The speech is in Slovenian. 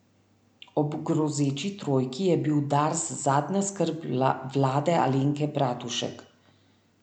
Ob grozeči trojki je bil Dars zadnja skrb vlade Alenke Bratušek.